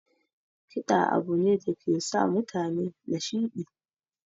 Kiɗa abu ne dake sa mutane nashiɗi